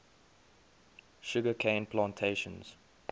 sugar cane plantations